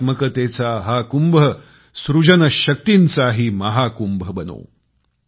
कलात्मकतेचा हा कुंभ सृजन शक्तींचाही महाकुंभ बनो